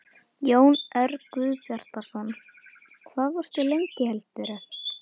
Jón Örn Guðbjartsson: Hvað varstu lengi heldurðu?